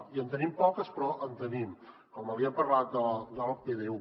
i en tenim poques però en tenim hem parlat del pdu